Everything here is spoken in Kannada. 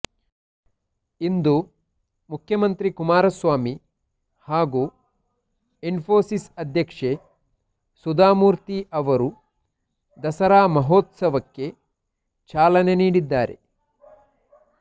ಇಂದು ಮುಖ್ಯಮಂತ್ರಿ ಕುಮಾರಸ್ವಾಮಿ ಹಾಗೂ ಇನ್ಫೋಸಿಸ್ ಅಧ್ಯಕ್ಷೆ ಸುಧಾಮೂರ್ತಿ ಅವರು ದಸರಾ ಮಹೋತ್ಸವಕ್ಕೆ ಚಾಲನೆ ನೀಡಿದ್ದಾರೆ